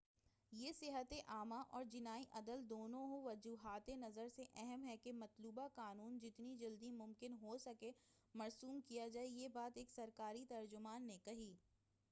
یہ صحتِ عامہ اور جنائی عدل دونوں وجہاتِ نظر سے اہم ہے کہ مطلوبہ قانون جتنی جلد ممکن ہو مرسوم کیا جائے یہ بات ایک سرکاری ترجمان نے کہی